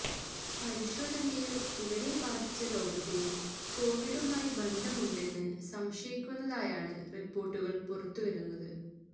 പരിശോധനയില് ഇവരെ ബാധിച്ച രോഗത്തിന് കോവിഡുമായി ബന്ധമുണ്ടെന്ന് സംശയിക്കുന്നതായാണ് റിപ്പോർട്ടുകൾ പുറത്തു വരുന്നത്